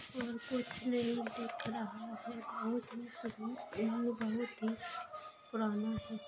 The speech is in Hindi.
और कुछ नहीं दिख रहा है बहुत एंड बहुत ही पुराना है।